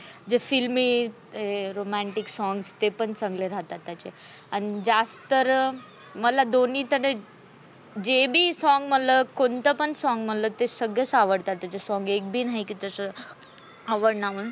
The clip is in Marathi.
जे filmy romantic songs ते पण चांगले राहतात त्याचे, आणि ज्यात तर मला दोन्ही सगळे जे बी song मला कोणत बी song मला सगळेस आवडतात. त्याचे song एक बी नाही की असं आवडना मंग.